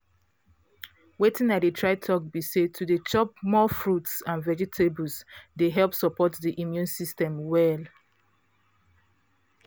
watin i dey try talk be say to dey chop more fruits and vegetables dey help support the immune system well